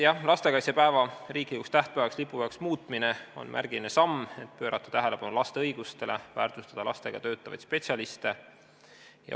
Jah, lastekaitsepäeva riiklikuks tähtpäevaks ja lipupäevaks muutmine on märgiline samm, et juhtida tähelepanu laste õigustele, väärtustada lastega töötavaid spetsialiste.